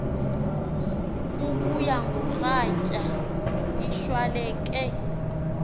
kubuya ngoratya ishwaleke